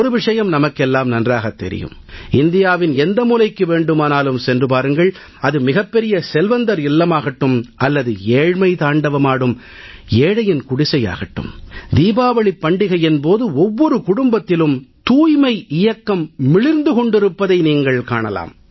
ஒரு விஷயம் நமக்கெல்லாம் நன்றாகத் தெரியும் இந்தியாவின் எந்த மூலைக்கு வேண்டுமானாலும் சென்று பாருங்கள் அது மிகப் பெரிய செல்வந்தர் இல்லமாகட்டும் அல்லது ஏழ்மை தாண்டவமாடும் ஏழையின் குடிசையாகட்டும் தீபாவளிப் பண்டிகையின் போது ஒவ்வொரு குடும்பத்திலும் தூய்மை இயக்கம் மிளிர்ந்து கொண்டிருப்பதை நீங்கள் காணலாம்